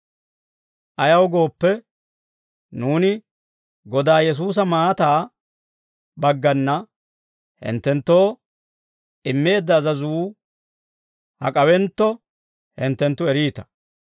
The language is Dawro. Ayaw gooppe, nuuni Godaa Yesuusa maataa baggana hinttenttoo immeedda azazuu hak'awentto, hinttenttu eriita.